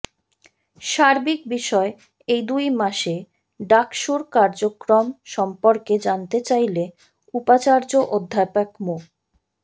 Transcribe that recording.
সার্বিক বিষয়ে এই দুই মাসে ডাকসুর কার্যক্রম সম্পর্কে জানতে চাইলে উপাচার্য অধ্যাপক মো